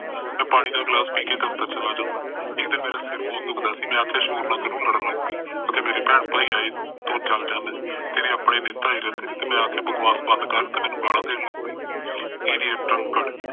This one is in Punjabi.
ਮੈ ਪਾਣੀ ਦਾ ਗਿਲਾਸ ਪੀਕੇ ਦਫਤਰ ਚਲਾ ਜਾਂਦਾ ਇੱਕ ਦਿਨ ਮੇਰਾ ਸਿਰ ਬਹੁਤ ਦੁਖਦਾ ਸੀ ਮੈ ਆਖਿਆ ਸ਼ੋਰ ਨਾ ਕਰੋ ਲੜਨ ਲੱਗ ਪਈ ਆਖੇ ਮੇਰੇ ਭੈਣ ਭਾਈ ਆਈ ਤੂੰ ਜਲ ਜਾਂਦਾ ਤੇਰੇ ਆਪਣੇ ਨੀ ਆਈ ਤੇ ਮੈ ਆਖਿਆ ਬਸਵਾਸ ਬੰਦ ਕਰ ਤੇ ਮੈਨੂੰ ਗਾਲਾ ਦੇਣ ਲੱਗ ਪਈ